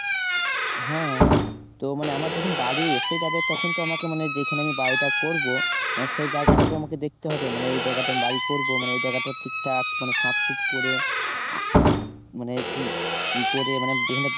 হ্যাঁ তো মানে আমার যখন বাড়ি এসে যাবে তখন তো আমাকে মানে যেখানে আমি বাড়িটা করবো, সেই জায়গাটাতো আমাকে দেখতে হবে মানে এই জায়গাটায় আমি বাড়ি করবো মানে ওই জায়গাটা ঠিক ঠাক কোন সাফ সুফ করে মানে উম ই করে মানে যেখানে